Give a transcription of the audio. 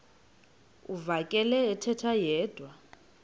uvakele ethetha yedwa